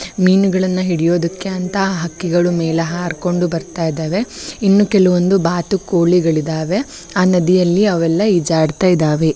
ಮೀನುಗಳನ್ನ ಹಿಡಿಯುದಕ್ಕೆ ಅಂತಾ ಹಕ್ಕಿಗಳು ಮೇಲೆ ಹಾರಿಕೊಂಡು ಬರತಾ ಇದ್ದಾವೆ ಇನ್ನೂ ಕೆಲವೊಂದು ಬಾತುಕೋಳಿಗಳಿದ್ದಾವೆ ಆ ನದಿಯಲ್ಲಿ ಅವೆಲ್ಲಾ ಈಜಾಡತ್ ಇದ್ದಾವೆ .